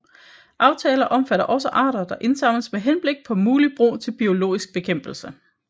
Aftaler omfatter også arter der indsamles med henblik på muligt brug til biologisk bekæmpelse